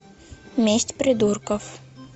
месть придурков